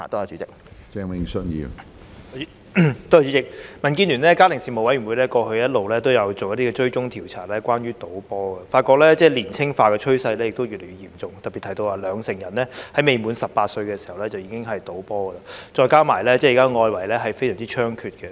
主席，民建聯的家庭事務委員會過去一直有進行關於賭波的追蹤調查，發現賭波年青化的趨勢越來越嚴重，並特別提到有兩成人在未滿18歲時已經賭波，再加上現時外圍賭波的情況猖獗。